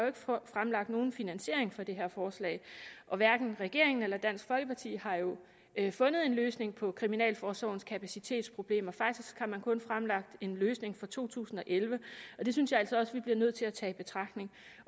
fremlagt nogen finansiering for det her forslag og hverken regeringen eller dansk folkeparti har fundet en løsning på kriminalforsorgens kapacitetsproblemer faktisk har man kun fremlagt en løsning for to tusind og elleve og det synes jeg altså også at vi bliver nødt til at tage i betragtning